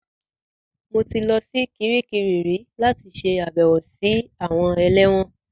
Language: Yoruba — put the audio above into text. Mo ti lọ sí Kiríkirì rí láti ṣe àbẹ̀wò sí àwọn ẹlẹ́wọ̀n